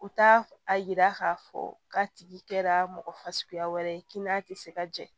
U t'a a yira k'a fɔ k'a tigi kɛra mɔgɔ fasuguya wɛrɛ ye kinn'a ti se ka jɛ